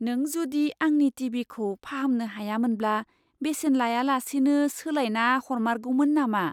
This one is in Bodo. नों जुदि आंनि टि. भि. खौ फाहामनो हायामोनब्ला बेसेन लायालासेनो सोलायना हरमारगौमोन नामा?